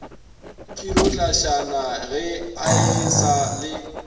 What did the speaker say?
khirotlasana ga e sa le